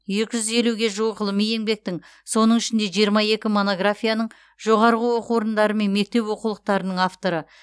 екі жүз елуге жуық ғылыми еңбектің соның ішінде жиырма екі монографияның жоғарғы оқу орындары мен мектеп оқулықтарының авторы